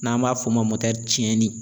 N'an b'a f'o ma cɛnnin